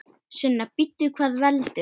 Sunna: Bíddu, hvað veldur?